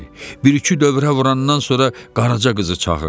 Bir-iki dövrə vurandan sonra qaraca qızı çağırdı.